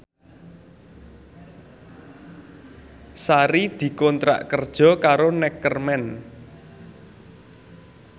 Sari dikontrak kerja karo Neckerman